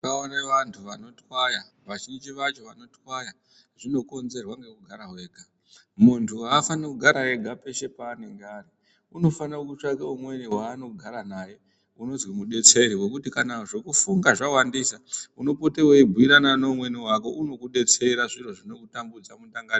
Ndakaone vanhu vanotwaya vazhinji vacho vanotwaya zvinokonzerwa ngekugara wega, muntu afaniri kugara ega peshe paanonga ari unofanire kutsvake umweni waanogara naye unozi mudetseri wekuti kana zvekufunga zvawandisa unopote weibhuyirane neumweni wako unokudetsera zviro zvinokutambudza mundangariro.